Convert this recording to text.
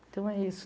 Então é isso.